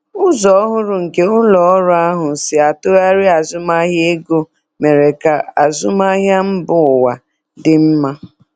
Ụzọ ọhụrụ nke ụlọ ọrụ ahụ si atụgharị azụmahịa ego mere ka azụmahịa mba ụwa dị mma.